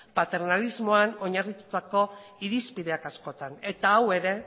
paternalismoan oinarritutako irizpideak askotan eta hau ere